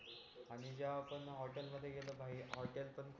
आंही जेव्हा आपण हॉटेल मध्ये गेलो भाई हॉटेल पण खूप